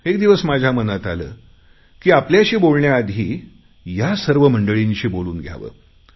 एक दिवस माझ्या मनात आले की आपल्याशी बोलण्याआधी यासर्व मंडळींशी बोलून घ्यावे